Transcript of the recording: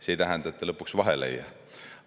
See ei tähenda, et ta lõpuks vahele ei jää.